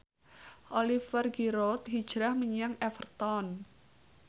Oliver Giroud hijrah menyang Everton